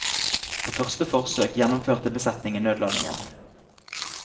På første forsøk gjennomførte besetningen nødlandingen.